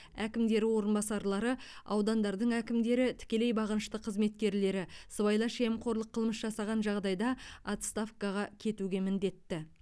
әкімдері орынбасарлары аудандардың әкімдері тікелей бағынышты қызметкерлері сыбайлас жемқорлық қылмыс жасаған жағдайда отставкаға кетуге міндетті